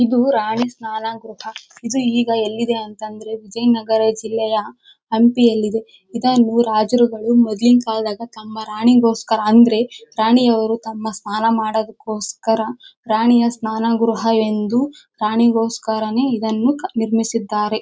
ಇದು ರಾಣಿ ಸ್ನಾನ ಗೃಹ ಇದು ಈಗ ಎಲ್ಲಿದೆ ಅಂತ ಅಂದ್ರೆ ವಿಜಯನಗರ ಜಿಲ್ಲೆಯ ಹಂಪಿಯಲ್ಲಿದೆ ಇದನ್ನು ರಾಜರುಗಳು ಮೊದಲಿನ ಕಾಲದ ಕಂಬ ರಾಣಿಗೋಸ್ಕರ ಅಂದ್ರೆ ರಾಣಿಯರು ಸ್ನಾನ ತಮ್ಮ ಸ್ನಾನ ಮಾಡೋದಕ್ಕೋಸ್ಕರ ರಾಣಿಯ ಸ್ನಾನ ಗೃಹ ಎಂದುರಾಣಿಗೋಸ್ಕರನೇ ಇದನ್ನು ನಿರ್ಮಿಸಿರುತ್ತಾರೆ .